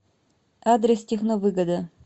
адрес техновыгода